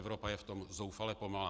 Evropa je v tom zoufale pomalá.